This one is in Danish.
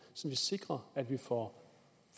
så vi sikrer at vi for